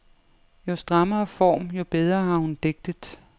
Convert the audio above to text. Jo strammere form, jo bedre har hun digtet.